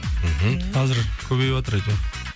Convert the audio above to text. мхм қазір көбейіватыр әйтеуір